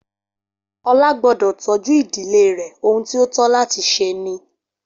Olá gbọ́dọ̀ tọ́jú ìdílé rẹ, ohun tí ó tó láti ṣe ni